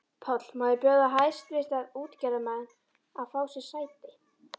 PÁLL: Má ég biðja hæstvirta útgerðarmenn að fá sér sæti.